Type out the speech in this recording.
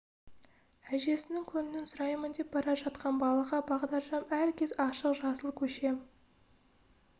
әжесінің көңілін сұраймын деп бара жатқан балаға бағдаршам әр кез ашық жасыл көше